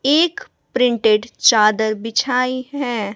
एक प्रिंटेड चादर बिछाई है।